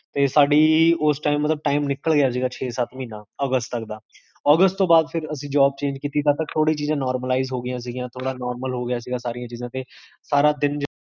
ਤੇ ਸਾਡੀ ਓਸ time ਮਤਲਬ time ਨਿੱਕਲ ਗਿਆ ਸੀਗਾ, ਛੇ ਸਤ ਮਹੀਨਾ, ਅਗਸਤ ਤਕਦਾ ਅਗਸਤ ਤੋਂ ਬਾਦ ਫੇਰ ਅਸੀ job change ਕੀਤੀ ਤਬ ਤਕ ਥੋੜੀ ਚੀਜ਼ਾਂ normalise ਹੋਗੀਆਂ ਸੀ, ਥੋੜਾ ਨੋਰਮਲ ਹੋਗਇਆ ਸੀ ਸਾਰੀਆਂ ਚੀਜ਼ਾਂ ਤੇ ਸਾਰਾ ਦਿਨ